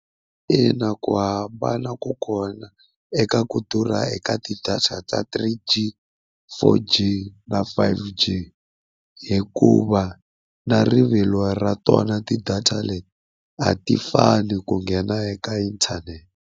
Ina ku hambana ka kona eka ku durha eka ti-data ta three g, four g na five g, hikuva na rivilo ra tona ti-data leti a ti fani ku nghena eka inthanete.